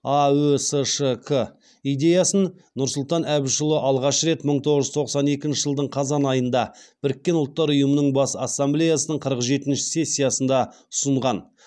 аөсшк идеясын нұрсұлтан әбішұлы алғаш рет мың тоғыз жүз тоқсан екінші жылдың қазан айында біріккен ұлттар ұйымының бас ассамблеясының қырық жетінші сессиясында ұсынған